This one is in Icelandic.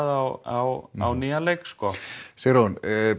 á nýjan leik sko Sigrún